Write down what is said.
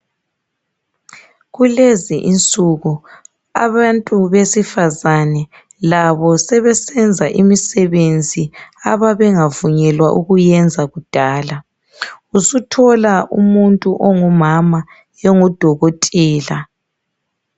Kulezi insuku abantu besifazana labo sebesenza imisebenzi ababengavunyelwa ukuyenza kudala. Usuthola umuntu ongumama engudokotela.